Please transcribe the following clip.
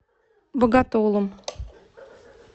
боготолом